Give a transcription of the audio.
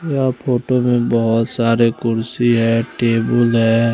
यहा फोटो में बोहोत सारे कुर्सी है टेबुल है।